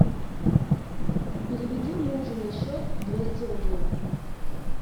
переведи мужу на счет двести рублей